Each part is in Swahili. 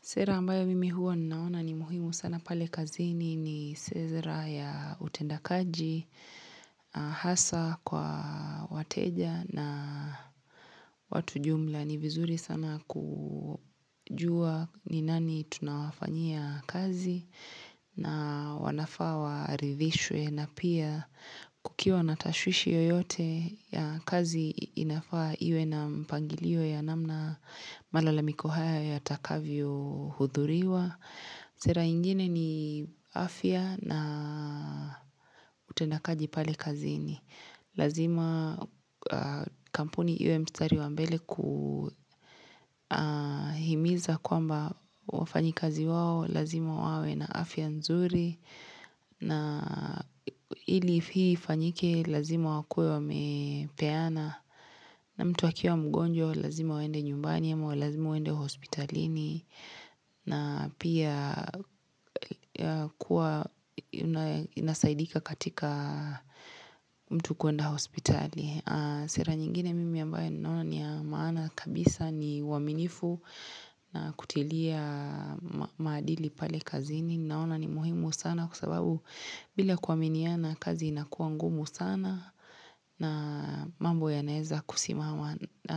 Sera ambayo mimi huwa ninaona ni muhimu sana pale kazini ni sera ya utendakaji, hasa kwa wateja na watu jumla. Ni vizuri sana kujua ni nani tunawafanyia kazi na wanafaa warithishwe na pia kukiwa natashwishi yoyote ya kazi inafaa iwe na mpangilio ya namna malalamiko hayo yatakavyo hudhuriwa. Sera ingine ni afya na utendakaji pale kazini. Lazima kampuni iwe mstari wa mbele kuhimiza kwamba wafanyikazi wao, lazima wawe na afya nzuri. Na ili hii ifanyike lazima wakuwe wamepeana. Na mtu akiwa mgonjwa, lazima waende nyumbani ama lazima waende hospitalini. Na pia kuwa nasaidika katika mtu kuenda hospitali Sera nyingine mimi ambaye naona ni maana kabisa ni waminifu na kutilia maadili pale kazini Naona ni muhimu sana kwa sababu bila kuaminiana kazi inakuwa ngumu sana na mambo yanaeza kusimama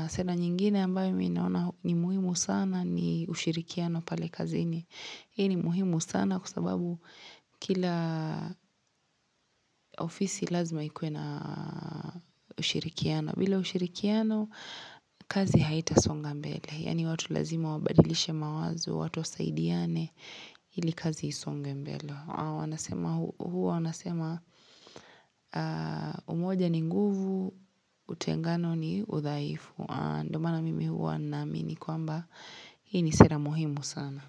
Sera nyingine ambayo mii naona ni muhimu sana ni ushirikiano pale kazi ini. Hii ni muhimu sana kwa sababu kila ofisi lazima ikuwe na ushirikiano. Bila ushirikiano, kazi haita songa mbele. Yaani watu lazima wabadilishe mawazo watu wasaidiane ili kazi isonge mbele wanasema Huwa wanasema umoja ni nguvu, utengano ni uthaifu. Ndo maana mimi huwa naamini kwamba Hii ni sera muhimu sana.